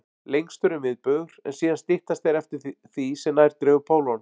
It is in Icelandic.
Lengstur er miðbaugur, en síðan styttast þeir eftir því sem nær dregur pólunum.